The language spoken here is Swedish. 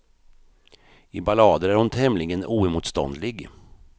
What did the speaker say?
I ballader är hon tämligen oemotståndlig.